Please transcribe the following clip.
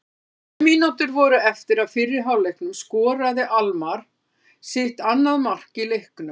Þegar sjö mínútur voru eftir af fyrri hálfleiknum skoraði Almarr sitt annað mark í leiknum.